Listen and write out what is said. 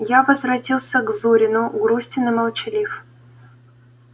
я возвратился к зурину грустен и молчалив